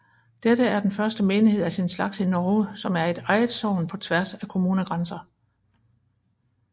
Dette er den første menighed af sin slags i Norge som er et eget sogn på tværs af kommunegrænser